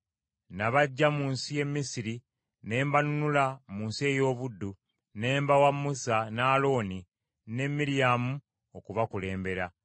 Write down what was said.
Nabaggya mu nsi ye Misiri ne mbanunula mu nsi ey’obuddu, ne mbawa Musa, ne Alooni ne Miryamu okubakulembera.